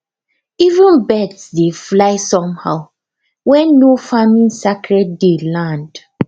even birds dey fly somehow when nofarming sacred day land